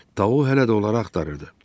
Tau hələ də onları axtarırdı.